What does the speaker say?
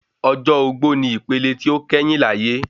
Ọjọ́ ogbó ni ipele tí ó kẹ́yìn láyé